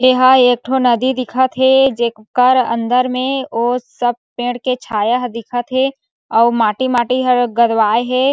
एहा एकठो नदी दिखथ हे जेकर अंदर में ओ सब पेड़ के छाया ह दिखथ हे अउ माटी-माटी हर गोदवाय हे।